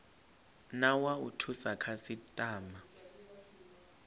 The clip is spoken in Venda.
na wa u thusa khasitama